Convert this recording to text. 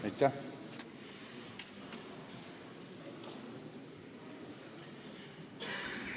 Aitäh!